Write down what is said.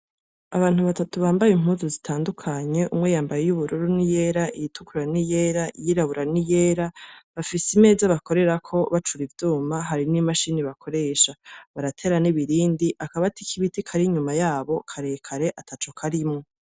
Abantu batatu bambaye impunzu zitandukanye iyubururu niyera, itukura niyera, iyirabura niyera, bafise imeza bakorerako bacura ivyuma hari ni machine bakoresha baratera n'ibirindi. Akabati kibiti karekare ataco karimwo.